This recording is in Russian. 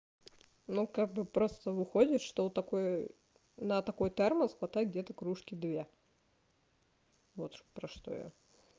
ну как бы просто выходит что у такой на такой термос хватает где-то кружки две вот про что я